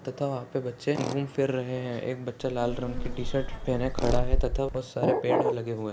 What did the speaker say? तथा वहाँ पे बच्चे घूम फिर रहे है एक बच्चा लाल रंग की टीशर्ट पहने खड़ा है तथा बहुत सारे पेड़ लगे हुए है।